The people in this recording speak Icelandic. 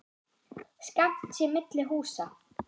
Skammt sé milli húsa.